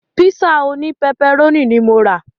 Pízà òní pẹpẹrónì ní mo rà.